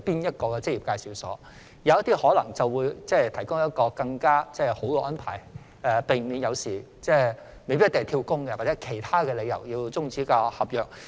有些職業介紹所可能會提供更好的安排，避免外傭因"跳工"或其他理由而要終止合約。